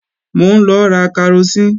Mò ń lọ ra karosín